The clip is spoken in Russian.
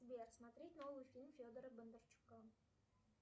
сбер смотреть новый фильм федора бондарчука